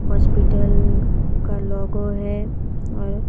hospital का logo है और--